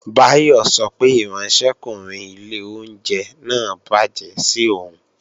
Báyọ̀ sọ pé ìránṣẹ́kùnrin ilé oúnjẹ náà bàjẹ́ sí òun